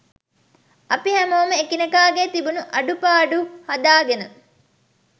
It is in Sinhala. අපි හැමෝම එකිනෙකාගේ තිබුණු අඩුපාඩු හදාගෙන